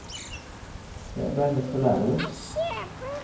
Jeg ble nødt til å lære det.